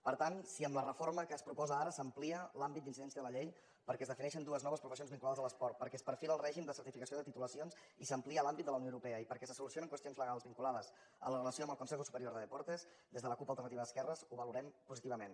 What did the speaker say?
per tant si amb la reforma que es proposa ara s’amplia l’àmbit d’incidència de la llei perquè es defineixen dues noves professions vinculades a l’esport perquè es perfila el règim de certificació de titulacions i s’amplia l’àmbit de la unió europea i perquè se solucionen qüestions legals vinculades a la relació amb el consejo superior de deportes des de la cup alternativa d’esquerres ho valorem positivament